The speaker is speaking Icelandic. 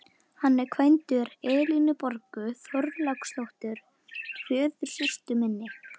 Hann var kvæntur Elínborgu Þorláksdóttur, föðursystur minni.